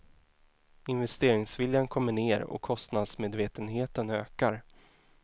Investeringsviljan kommer ned och kostnadsmedvetenheten ökar.